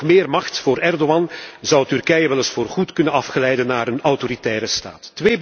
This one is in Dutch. Met nog meer macht voor Erdoğan zou Turkije wel eens voorgoed kunnen afglijden naar een autoritaire staat.